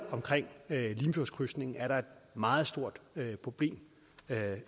med limfjordskrydsningen er der et meget stort problem